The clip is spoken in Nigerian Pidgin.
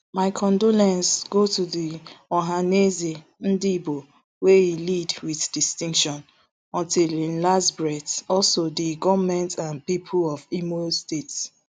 my condolences go to di ohanaeze ndigbo wey e lead wit distinction until im last breathe also di goment and pipo of imo state